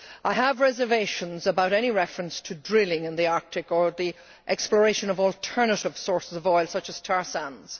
I have reservations about any reference to drilling in the Arctic or exploration for alternative sources of oil, such as tar sands.